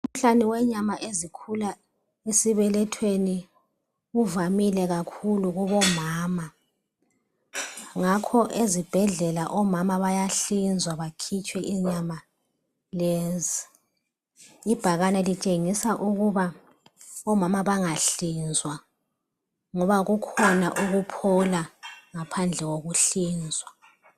Umkhuhlane wenyama ezikhula esibelethweni uvamile kakhulu kubomama. Ngakho ezibhedlela omama bayahlinzwa bakhitshwe inyama lezi. Ibhakane litshengisa ukuba omama bangahlinzwa ngoba kukhona ukuphola ngaphandle kokuhlinzwa.